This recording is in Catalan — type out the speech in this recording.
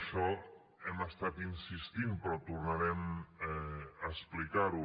això hi hem estat insistint però tornarem a explicar ho